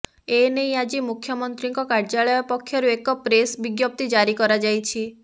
ଏନେଇ ଆଜି ମୁଖ୍ୟମନ୍ତ୍ରୀଙ୍କ କାର୍ଯ୍ୟାଳୟ ପକ୍ଷରୁ ଏକ ପ୍ରେସ ବିଜ୍ଞପ୍ତି ଜାରି କରାଯାଇଛି